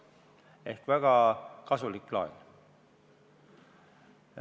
See on väga kasulik laen.